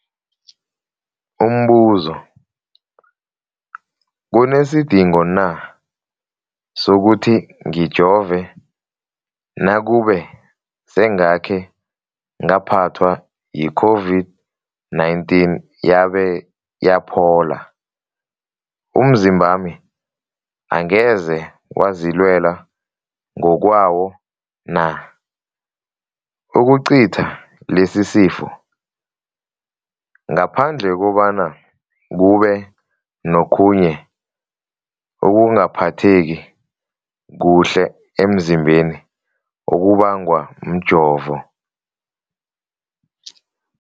Umbuzo, kunesidingo na sokuthi ngijove nakube sengakhe ngaphathwa yi-COVID-19 yabe yaphola? Umzimbami angeze wazilwela ngokwawo na ukucitha lesisifo, ngaphandle kobana kube nokhunye ukungaphatheki kuhle emzimbeni okubangwa mjovo?